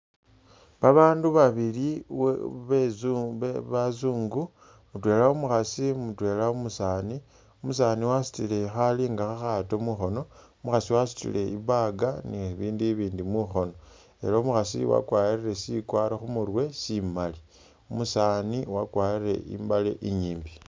Babandu babili be bezu bazungu mutwela umukhaasi mutwela umusaani umusaani wasutile khali nga khakhaato mukhoono wasutile i'bag ni bibindu i'bindi mukhoono ela umukhaasi uyu wakwalire sikwaro sikwaro khumurwe simali, umusaani wakwarile i'mbaale i'nyimbi